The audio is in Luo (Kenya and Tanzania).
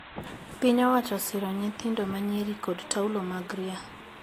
Piny owacho osiro nyithindo manyiri kod taulo mag ria